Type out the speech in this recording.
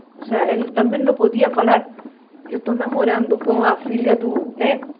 Ou seja, ele também não podia falar, eu estou namorando com a filha do né.